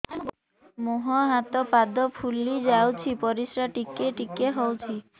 ମୁହଁ ହାତ ପାଦ ଫୁଲି ଯାଉଛି ପରିସ୍ରା ଟିକେ ଟିକେ ହଉଛି